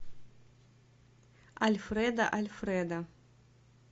альфредо альфредо